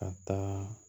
Ka taa